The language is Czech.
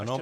Ano.